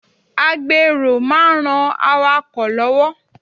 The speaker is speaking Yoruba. A gbèrò máa ń ran awakọ̀ lọ́wọ́.